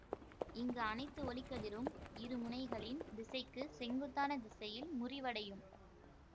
இங்கு அனைத்து ஒளிக்கதிரும் இருமுனைகளின் திசைக்கு செங்குத்தான திசையில் முறிவடையும்